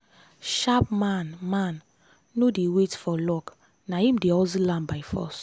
sharp man man no dey wait for luck na im dey hustle am by force.